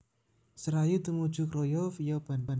Serayu tumuju Kroya via Bandung